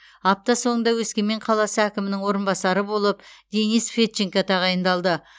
апта соңында өскемен қаласы әкімінің орынбасары болып денис федченко тағайындалды